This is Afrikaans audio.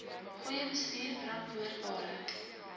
goeie bestuur verantwoordbare